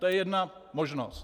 To je jedna možnost.